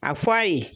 A f'a ye